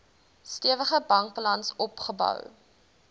stewige bankbalans opgebou